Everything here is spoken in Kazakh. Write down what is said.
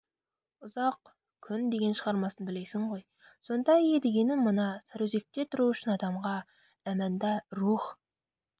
ұзақ күн деген шығармасын білесің ғой сонда едігенің мына сарыөзекте тұру үшін адамға әманда рух